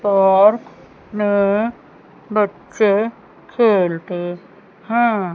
और नए बच्चे खेलते हैं।